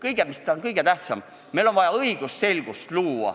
Sest mis on kõige tähtsam: meil on vaja õigusselgust.